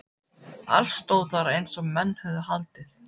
Allt stóð þar eins og menn höfðu haldið.